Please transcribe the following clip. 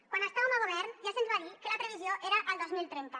quan estàvem a govern ja se’ns va dir que la previsió era el dos mil trenta